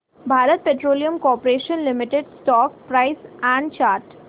Bharat petroleum corporation limited stock price and chart